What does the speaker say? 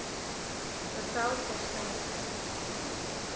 bevel ter syde